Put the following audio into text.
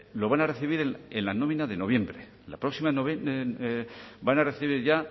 lo van a recibir en la nómina de noviembre en la próxima van a recibir ya